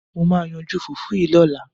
Mo máa yanjú fùfú yìí lọ́la.